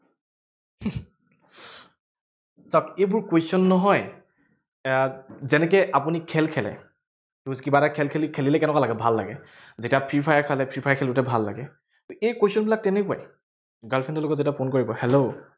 চাওঁক এইবোৰ question নহয়, আহ যেনেকে আপুনি খেল খেলে ধৰক কিবা এটা খেল খেলি, খেলিলে কেনেকুৱা লাগে, ভাল লাগে। যেতিয়া ফ্ৰী ফায়াৰ খেলে, ফ্ৰী ফায়াৰ খেলোতে ভাল লাগে। এই question বিলাক তেনেকুৱাই। girl friend ৰ লগত যেতিয়া phone কৰিব hello